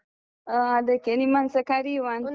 ಅದಕ್ಕೆ ನಿಮ್ಮನ್ನುಸ ಕರಿಯುವಾಂತ.